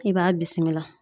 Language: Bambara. I b'a bisimila.